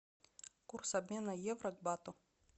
курс обмена евро к бату